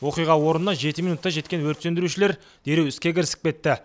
оқиға орнына жеті минутта жеткен өрт сөндірушілер дереу іске кірісіп кетті